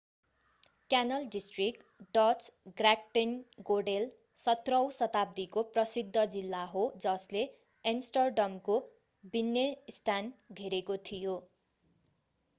Canal district Dutch: Grachtengordel 17औँ शताब्दीको प्रसिद्ध जिल्ला हो जसले एम्स्टर्डमको बिन्नेन्स्ट्याड घेरेको थियो।